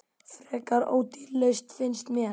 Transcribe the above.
Frekar ódýr lausn, finnst mér.